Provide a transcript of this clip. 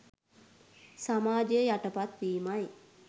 සමාජය යටපත් වීමයි.